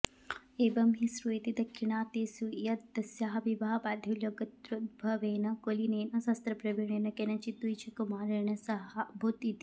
एवं हि श्रूयते दाक्षिणात्येषु यद् तस्याः विवाहः वाधूलगोत्रोद्भवेन कुलीनेन शास्त्रप्रवीणेन केनचिद् द्विजकुमारेण सहाभूत् इति